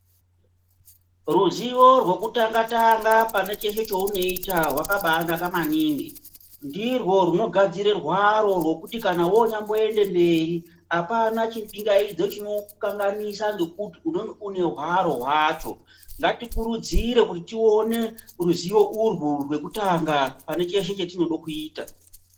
Ruzivo rwekutanga tanga pane cheshe chaunoita rwakabaanaka maningi ndirwo rwunogadzira rwaro rwekuti kana wonyamboenda mberi apana chipangaidzo chinokanganisa ngokuti unenge une rwaro rwacho, ngatirukurudzire ruzivo urwu pane cheshe chaunoita.